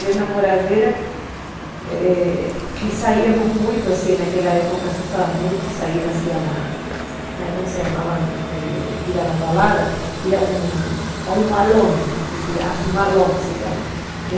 vir na moradeira eh e saíamos muito, assim, naquela época se usava muito sair, assim, na época se chamava ir a uma balada, ir a um malão, assim, malão se chama, né?